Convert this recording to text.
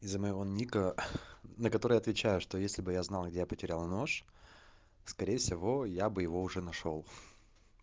из-за моего ника на которые отвечаю что если бы я знал где я потерял нож скорее всего я бы его уже нашёл